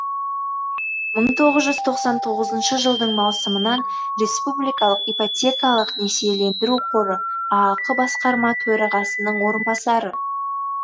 мың тоғыз жүз тоқсан тоғызыншы жылдың маусымынан республикалық ипотекалық несиелендіру қоры аақ басқарма төрағасының орынбасары